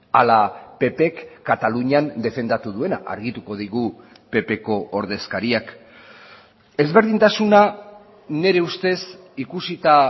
ala ppk katalunian defendatu duena argituko digu ppko ordezkariak ezberdintasuna nire ustez ikusita